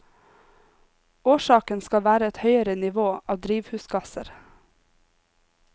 Årsaken skal være et høyere nivå av drivhusgasser.